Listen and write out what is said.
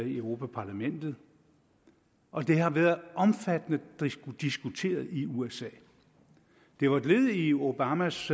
i europa parlamentet og det har været omfattende diskuteret i usa det var et led i obamas